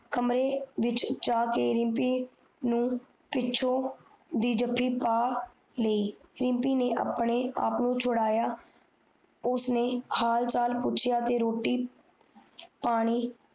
ਕਮਰੇ ਵਿਚ ਜਾਕੇ ਪਿੱਛੋਂ ਦੀ ਜਾਫੀ ਪਾ ਲਯੀ ਰਿਮਪੀ ਨੇ ਆਪਣੇ ਆਪ ਨੂੰ ਸ਼ਧਾਯਾ ਉਸਨੇ ਹਾਲ ਚਾਲ ਪੁੱਛਯਾ ਤੇ ਰੋਟੀ ਪਾਣੀ